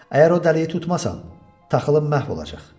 Əgər o dəliyi tutmasam, taxılım məhv olacaq.